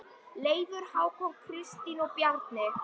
Leifur, Hákon, Kristín og Bjarni.